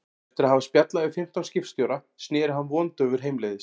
Eftir að hafa spjallað við fimmtán skipstjóra sneri hann vondaufur heimleiðis.